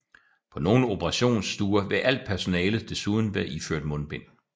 På nogle operationsstuer vil alt personalet desuden være iført mundbind